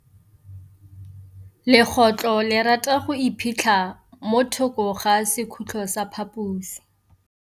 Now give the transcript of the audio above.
Legôtlô le rata go iphitlha mo thokô ga sekhutlo sa phaposi.